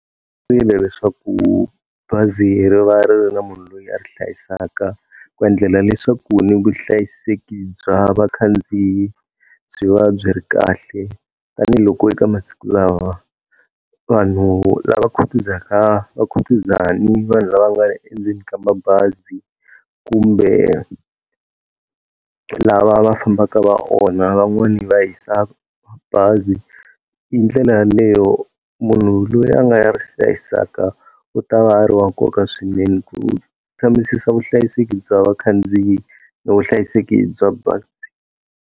leswaku bazi ri va ri ri na munhu loyi a ri hlayisaka ku endlela leswaku ni vuhlayiseki bya vakhandziyi byi va byi ri kahle. Tanihi loko eka masiku lawa vanhu lava khutuzaka va khutuza ni vanhu lava nga le endleni ka mabazi, kumbe lava va fambaka va onha van'wani va hisa bazi. Hi ndlela yaleyo munhu loyi a nga ya ri hlayisaka u ta va ha ri wa nkoka swinene ku kambisisa vuhlayiseki bya vakhandziyi na vuhlayiseki bya bazi.